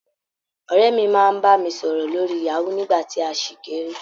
Ọ̀rẹ́ mi máa ń bá mi sọ̀rọ̀ lórí Yahoo, nígbà tí a ṣì kéré.